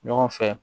Ɲɔgɔn fɛ